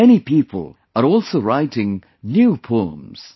Many people are also writing new poems